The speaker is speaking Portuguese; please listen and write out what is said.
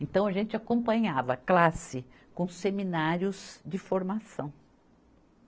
Então, a gente acompanhava a classe com seminários de formação.